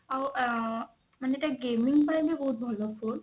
ଆଉ ଆ ମାନେ ଏଇଟା gaming ପାଇଁ ବି ବହୁତ ଭଲ phone